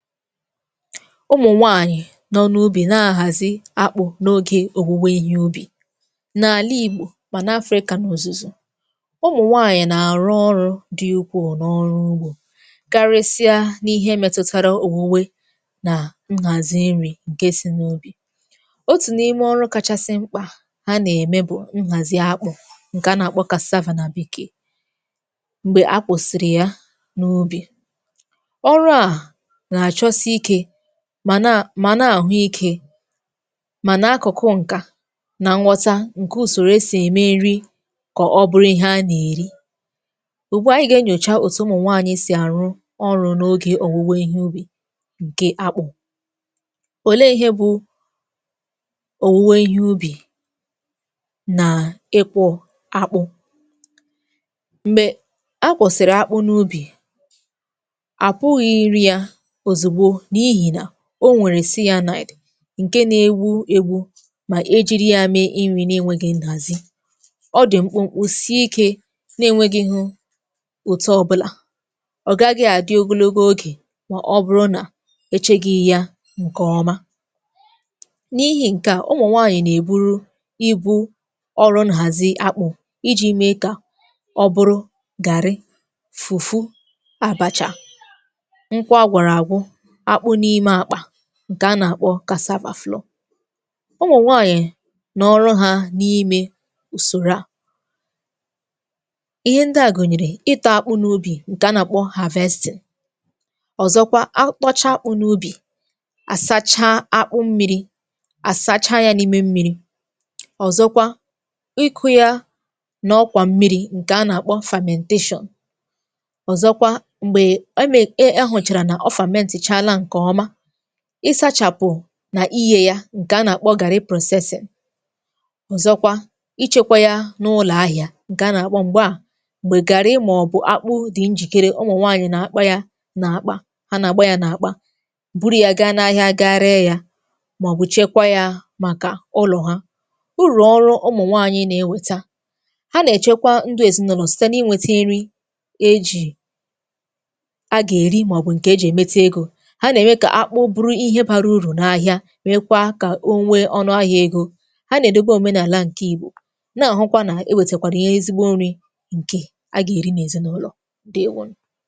Ụmụ̀nwaànyị̀ nọ n’ubì na-ahàzi akpụ̀ n’ogė òwuwe ihe ubì. Na-àla ìgbò, mà na Afrịka, nà òzùzù, ụmụ̀nwaànyị̀ nà-àrụ ọrụ̇ dị ukwù n’ọrụ ugbò, karisia n’ihe metutara owuwe nà nhàzì nrì ǹkè si n’ubì. Otù n’ime ọrụ̇ kachasị mkpà ha nà-ème bụ̀ nhàzì akpụ̀ ǹkè a nà-àkpọ nà bekee m̀gbè akpụ̀sị̀rị̀ ya n’ubì. Ọrụ a na-achosike, mà na àhụ ikė, màna akụ̀kụ ǹkà nà nwọta ǹke ùsòrò esì ème nri kà ọ bụrụ ihe a nà-èri. Ùgbu a ànyị gà-enyòcha òtù ụmụ̀nwaanyị̇ sì àrụ ọrụ̇ n’ogė òwuwe ihe ubì ǹke akpụ̇. Òle ihe bụ òwùwe ihe ubì nà ịkwọ̇ akpụ̇? Mgbè a kwọ̀sị̀rị̀ akpụ n’ubì, apụghị iri a ozugbo, n'ihi na o nwèrè ǹke na-ewu egbu mà e jiri yȧ mee inwi na-enwėghi̇ ǹdààzi, ọ dị̀ mkpụmkpụ si ikė, na-enwėgi̇ghu ụtọ ọbụlà, ọ̀gagị àdị ogologo ogè mà ọ bụrụ nà echegị ya ǹkọ̀ọma. N’ihi ǹke a, ụmụ nwaanyị̀ nà-èburu ibu̇ ọrụ nhàzi akpụ̀, iji̇ mee kà ọ bụrụ gàrrị, fùfu, àbàchà, nkwọ agwọrọ agwọ, akpụ̀ n'ime akpa, ǹkè a nà-àkpọ. Umunwaanyị̀ n'ọ̀rụ hȧ n’imė ùsòrò à. Ihe ndị à gụ̀nyèrè, ịtọ̇ akpụ n’ubì ǹkè a nà-àkpọ, ọ̀zọkwa akpụchaa akpụ n’ubì, àsachaa akpụ mmi̇ri̇, àsacha yȧ n’ime mmi̇ri̇, ọ̀zọkwa ịkụ̇ yȧ nà ọkwà mmiri̇ ǹkè a nà-àkpọ, ọ̀zọkwa m̀gbè e mè, e hụ̀chàrà nà ọ ti chálá nke ọma, i sachàpụ̀ nà iyė ya ǹkè a nà-àkpọ gàrrị, ọ̀zọkwa ichekwa ya n’ụlọ̀ ahị̇à ǹkè a nà-àkpọ m̀gbe à, m̀gbè gàrrị ma ọ̀bụ̀ akpụ dị njìkere, ụmụ̀nwaanyị̀ nà-akpa ya n’àkpa ha nà-àgba ya n’àkpa buru ya gaa n’ahịa ga ree ya màọbụ̀ chekwa ya màkà ụlọ̀ ha. Urù ọrụ ụmụ̀nwaanyị̀ na-ewèta. Ha nà-èchekwa ndụ èzinụlọ̀ site n’ịnwėte nri e jì a gà-èri màọbụ̀ ǹkè e jì èmetu egȯ. Ha na-eme ka akpu bụrụ ihe bara uru na ahịa, mekwa ka onwe ọṅụ ahịa ego. Ha na edebe omenala nke Igbo, na-ahụ kwa na ewetekwara ihe ezigbo nri, nke aga eri na ezinụlọ, ǹdewȯnù.